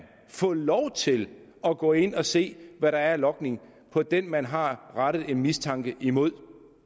få lov til at gå ind og se hvad der er af logning på den man har rettet en mistanke imod